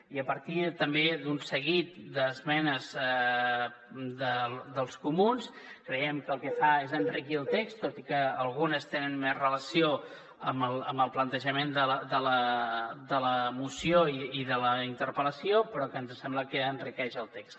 i a partir també d’un seguit d’esmenes dels comuns creiem que el que fa és enriquir el text tot i que algunes tenen més relació amb el plantejament de la moció i de la interpel·lació però que ens sembla que enriqueixen el text